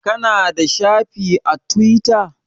Ka na da shafi a Tiwita?